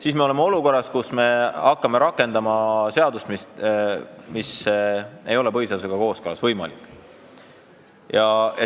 Siis me oleme olukorras, kus me hakkame rakendama seadust, mida ei ole võimalik põhiseadusega kooskõlas rakendada.